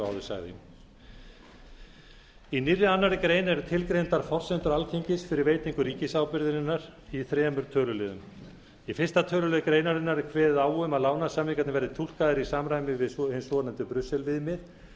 og áður sagði í nýrri annarrar greinar eru tilgreindar forsendur alþingis fyrir veitingu ríkisábyrgðarinnar í þremur töluliðum í fyrsta tölulið greinarinnar er kveðið á um að lánasamningarnir verði túlkaðir í samræmi við hin svonefndu brussel viðmið